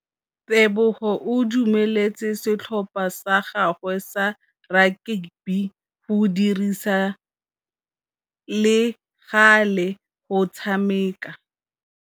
Tebogô o dumeletse setlhopha sa gagwe sa rakabi go dirisa le galê go tshameka.